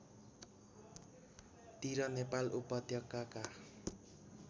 तिर नेपाल उपत्यकाका